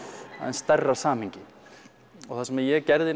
stærra samhengi það sem ég gerði